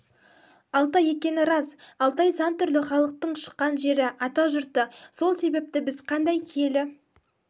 алтай екені рас алтай сан түрлі халықтың шыққан жері атажұрты сол себепті біз қандай киелі